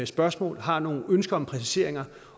spørgsmål og har nogle ønsker om præciseringer